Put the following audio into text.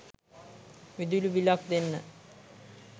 විදුලි බිලක් දෙන්න